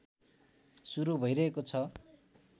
सुरु भइरहेको छ